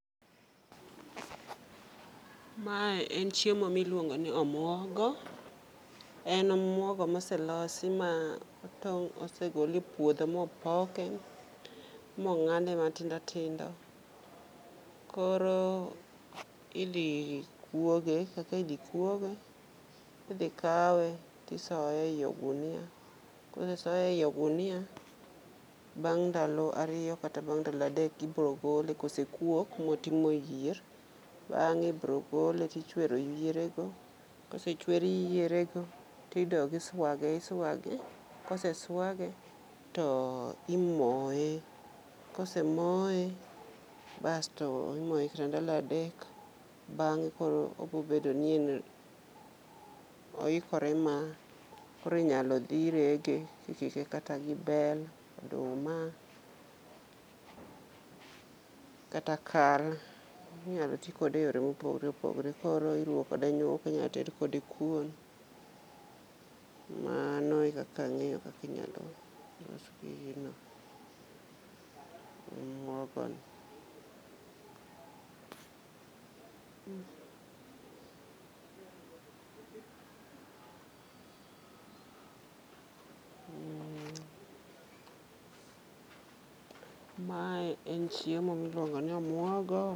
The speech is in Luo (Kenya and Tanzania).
Mae en chiemo miluongoni omuogo. En omuogo moselosi maa tong' osegole puodho mopoke mong'ade matindo tindo. Koroo idhii kuoge. Kaka idhi kuoge idhii kawe tisoye eyi ogunia. Kose soye eyi ogunia bang' ndalo ariyo kata bang' ndalo adek ibro gole kosekuok motimo yier bang'e ibro gole tichwero yierogo kosechuer yierego tidogi iswage iswage koseswage too imoye kose moye basto imoye kata ndalo adek bang'e koro obiro bedoni en oikore ma koro inyalo dhii rege ikike kata gibel, oduma kata kal inyalo tii kode eyore mopogore opogore koero iruo kode nyuka inya ted kode kuon. Mano ekaka ang'eyo kaka inyal los gino. Omuogono. mmh.Ma en chiemo miluongoni omuogo.